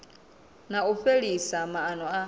na u fhelisa maana a